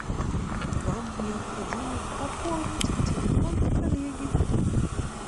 вам необходимо пополнить телефон коллеги